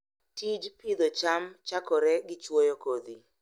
Tij pidho cham chakore gi chwoyo kodhi.